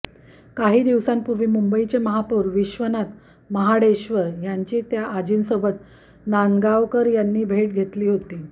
काही दिवसांपूर्वी मुंबईचे महापौर विश्वनाथ महाडेश्वर यांची त्या आजींसोबत नांदगावकर यांनी भेट घेतली होती